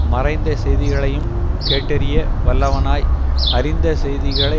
மறைந்த செய்திகளையும் கேட்டறிய வல்லவனாய் அறிந்த செய்திகளை